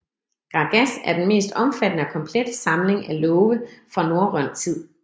Grágás er den mest omfattende og komplette samling af love fra norrøn tid